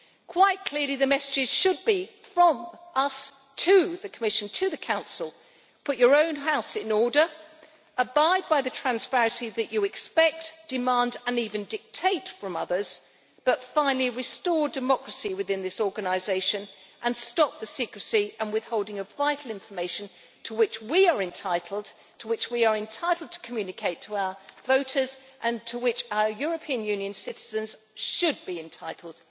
Quite clearly the messages should be from us to the Commission to the Council Put your own house in order, abide by the transparency that you expect, demand and even dictate from others, but finally restore democracy within this organisation and stop the secrecy and withholding of vital information to which we are entitled, which we are entitled to communicate to our voters, and to which our European Union citizens should be entitled.